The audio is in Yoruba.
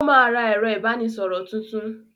Ó máa ra ẹ̀rọ-ìbánisọ̀rọ̀ tuntun.